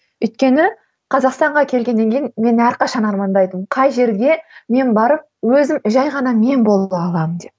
өйткені қазақстанға келгеннен кейін мен әрқашан армандайтынмын қай жерге мен барып өзім жай ғана мен бола аламын деп